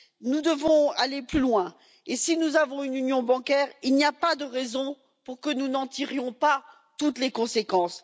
Nous devons aller plus loin et si nous avons une union bancaire, il n'y a pas de raison pour que nous n'en tirions pas toutes les conséquences.